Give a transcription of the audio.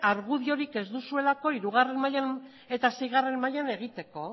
argudiorik ez duzuelako hirugarren mahaian eta seigarren mahaian egiteko